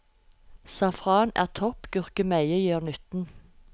Safran er topp, gurkemeie gjør nytten.